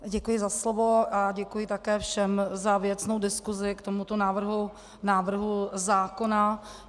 Děkuji za slovo a děkuji také všem za věcnou diskusi k tomuto návrhu zákona.